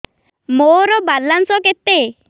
ମୋର ବାଲାନ୍ସ କେତେ